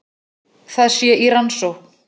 Það sé í rannsókn